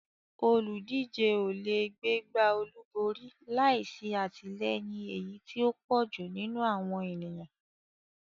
Olùdíje ò lè gbégbá olúborí láì sí àtìlẹyìn èyí tí ó pọ̀ jù nínú àwọn ènìyàn.